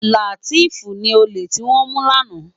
Lateef ni ólé tiwòn mú làná